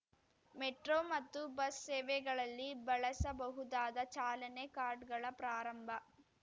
metro ಮತ್ತು bus ಸೇವೆಗಳಲ್ಲಿ ಬಳಸಬಹುದಾದ ಚಾಲನೆ ಕಾರ್ಡ್ ಗಳ ಪ್ರಾರಂಭ